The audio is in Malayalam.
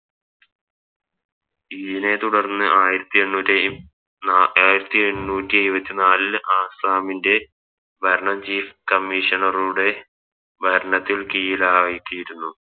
ഇങ്ങനെ തുടർന്ന് ആയിരത്തി എണ്ണൂറ്റി നാ ആയിരത്തി എണ്ണൂറ്റി ഏഴ്വത്തി നാലിൽ ആസ്സാമിൻറെ ഭരണം Chief commissioner റുടെ ഭരണത്തിൽ കീഴിലായി തീരുന്നു